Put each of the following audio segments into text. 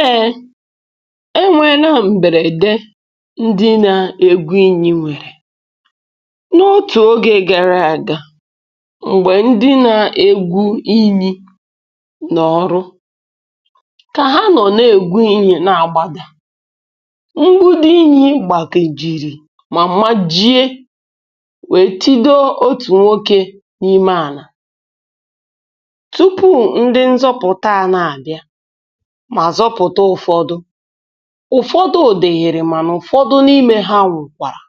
Ee e nwee na m̀bèrède ndị nȧ-ègwu inyi nwèrè. N’otù ogė gara àga, m̀gbè ndị nȧ-egwu inyi nọ ọ̀rụ, kà ha nọ̀ n’egwu inyi n'agbȧdà ngbụdi inyi gbàkejìrì mà majie wee tido otù nwokė n’ime ànà. Tụpụ ndị nzọpụta a na abịa mà zọpụ̀ta ụ̀fọdụ, ụ̀fọdụ diịrị mànà ụ̀fọdụ n’imė ha nwụ̀kwàra,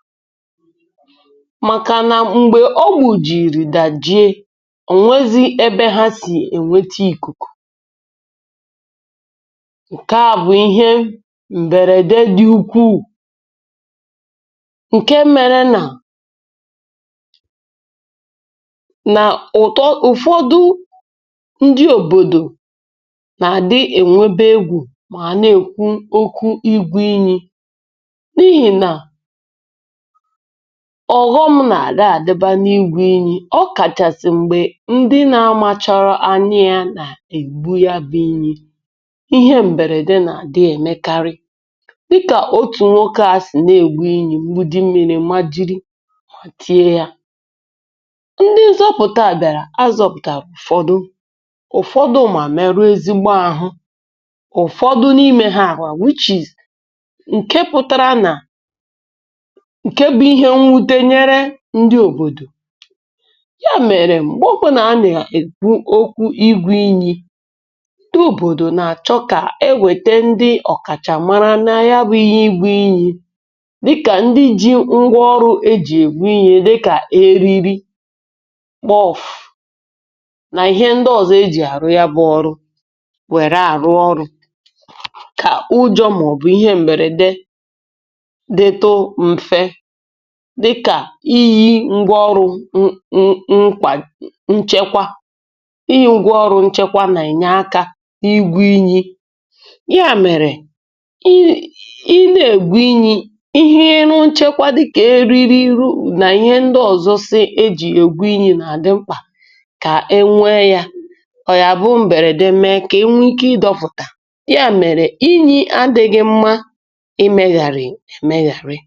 màkà nà m̀gbè ọ gbùjìrì dàjie onwezi ebe ha sì ènweta ìkùkù. Nke à bụ̀ ihe m̀bèrède dị̇ ukwuù, ǹke mėrė na, nà ụ̀tọ ụ̀fọdụ ndị òbòdò na adị enwebe egwu ma a na èkwu okwu igwu inyi̇, n’ihi nà ọ̀ghọm na-àdi adiba n’igwu inyi, ọ kàchàsị̀ m̀gbè ndị na amȧchọrọ anya ya nà ègwu ya bụ̇ inyi̇, ihe m̀bèrède nà àdị èmekarị. Dịkà otu̇ nwoke a sì na ègwu inyi̇ mgbidi mmiri̇ ma jiri ma tie yȧ. Ndị nzọpụ̀ta bịàrà azọ̇pụ̀tà ụ̀fọdụ, ụ̀fọdụ ma merụọ́ ezigbo ahụ, ụfọdụ n’imė ha ǹke pụ̀tara nà ǹke bụ̇ ihe nwute nyere ndị òbòdò. Ya mèrè mgbe ọbụna a nà-èkwu okwu igwu inyi̇ ndị òbòdò nà-àchọ kà e wète ndị ọ̀kàchà mara nȧ ya bụ̇ ihe igwu inyi̇, dịkà ndị ji ngwa ọrụ̇ ejì ègbu inyi dịkà eriri, kpọ̀fù, nà ihe ndị ọ̀zọ ejì àrụ ya bụ̇ ọrụ were arụ ọrụ, kà ujọ màọbụ̀ ihe m̀bèrède dịtu m̀fe, dịkà iyi̇ ngwaọrụ nkwà nchekwa, iyi ngwa ọrụ nchekwa nà-ènye aka igwu inyi. Ya mèrè i na-ègwu inyi ihe nu nchekwa dịkà eriri nu nà ihe ndị ọzọ si eji egwu inyi nà-àdị mkpà kà e nwee ya, ọ ya bu mberede mee ka enwee ike idọpụta, ya mere, inyì adị̇ghị mma imėghàrị̀ èmėghàrị.